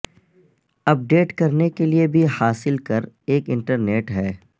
اپ date کرنے کے لئے بھی حاصل کر ایک انٹرنیٹ ہے